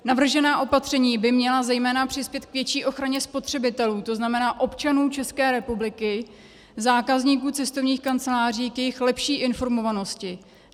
Navržená opatření by měla zejména přispět k větší ochraně spotřebitelů, to znamená občanů České republiky, zákazníků cestovních kanceláří, k jejich lepší informovanosti.